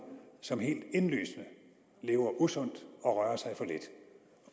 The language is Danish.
som helt indlysende lever usundt og rører sig for lidt